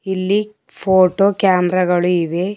ಇಲ್ಲಿ photo camera ಗಳು ಇವೆ.